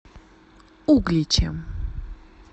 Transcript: угличем